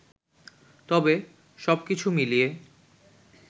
তবে, সবকিছু মিলিয়ে